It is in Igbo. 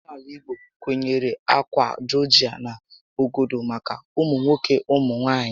Óménàalà igbo kwenyere ákwà jọọjị na ọgọdọ maka ụmụ nwoke ụmụ nwaanyị